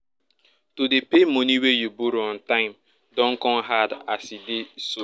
to dey pay money wey you borrow on time don come hard as e dey so